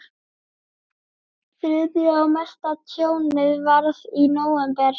Þriðja og mesta tjónið varð í nóvember.